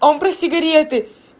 он про сигареты